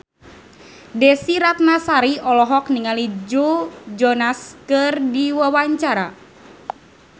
Desy Ratnasari olohok ningali Joe Jonas keur diwawancara